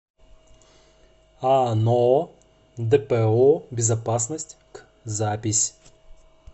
ано дпо безопасность к запись